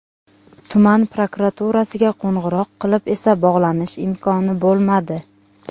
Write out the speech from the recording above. Tuman prokuraturasiga qo‘ng‘iroq qilib esa bog‘lanish imkoni bo‘lmadi.